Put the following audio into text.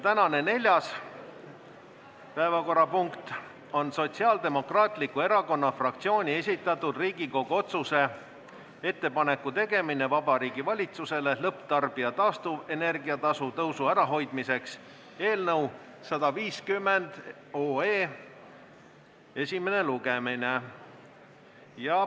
Tänane neljas päevakorrapunkt on Sotsiaaldemokraatliku Erakonna fraktsiooni esitatud Riigikogu otsuse "Ettepaneku tegemine Vabariigi Valitsusele lõpptarbija taastuvenergia tasu tõusu ära hoidmiseks" eelnõu 150 esimene lugemine.